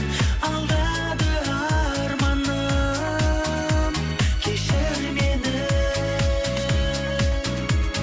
алдады арманым кешір мені